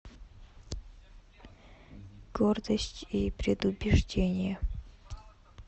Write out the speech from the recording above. гордость и предубеждение